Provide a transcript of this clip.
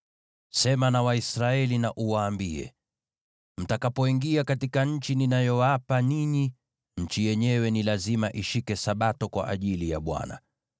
“Sema na Waisraeli uwaambie: ‘Mtakapoingia katika nchi ninayowapa ninyi, nchi yenyewe ni lazima ishike Sabato kwa ajili ya Bwana .